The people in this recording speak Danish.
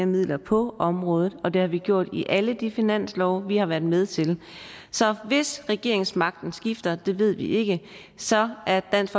midler på området og det har vi gjort i alle de finanslove vi har været med til så hvis regeringsmagten skifter og det ved vi ikke så er dansk